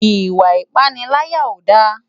Iwa ipàniláyá ó dá